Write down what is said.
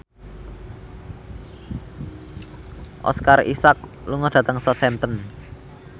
Oscar Isaac lunga dhateng Southampton